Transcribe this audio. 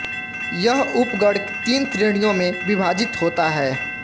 यह उपगण तीन श्रेणियों में विभाजित होता है